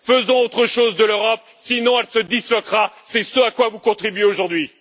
Faisons autre chose de l'Europe, sinon elle se disloquera, c'est ce à quoi vous contribuez aujourd'hui.